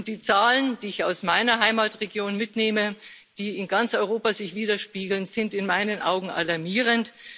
Die Zahlen, die ich aus meiner Heimatregion mitnehme, die sich in ganz Europa widerspiegeln, sind in meinen Augen alarmierend.